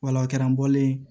Wala o kɛra n bɔlen